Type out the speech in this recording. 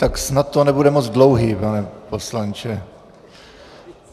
Tak snad to nebude moc dlouhé, pane poslanče.